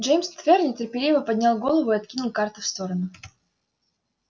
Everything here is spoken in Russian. джеймс твер нетерпеливо поднял голову и откинул карты в сторону